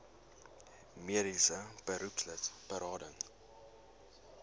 mediese beroepslid berading